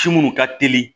Ci minnu ka teli